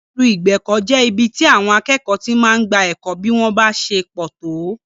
Ọ́ọ̀lù ìgbẹ̀kọ̀ jẹ́ ibi tí àwọn akẹ́kọ̀ọ́ ti máa ń gba ẹ̀kọ́ bí wón ṣe pọ̀ tó